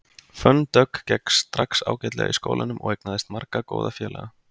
Fönn Dögg gekk strax ágætlega í skólanum og eignaðist marga góða félaga.